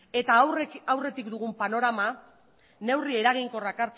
eta aurretik dugun panorama neurri eraginkorrak